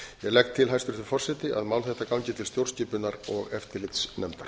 legg til hæstvirtur forseti að mál þetta gangi til stjórnskipunar og eftirlitsnefndar